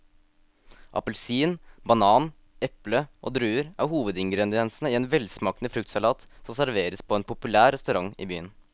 Appelsin, banan, eple og druer er hovedingredienser i en velsmakende fruktsalat som serveres på en populær restaurant i byen.